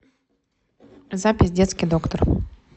запись детский доктор